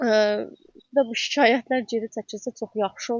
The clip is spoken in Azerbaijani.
Bu şikayətlər geri çəkilsə, çox yaxşı olar.